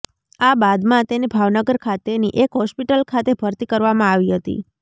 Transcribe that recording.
આ બાદમાં તેને ભાવનગર ખાતેની એક હોસ્પિટલ ખાતે ભરતી કરવામાં આવી હતી